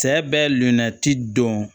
Cɛ bɛ lilati dɔn